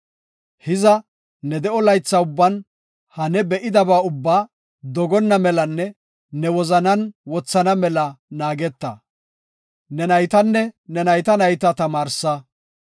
Hiza ne de7o laytha ubban ha ne be7idaba ubbaa dogonna melanne ne wozanan wothana mela naageta. Ne naytanne ne nayta nayta tamaarsa.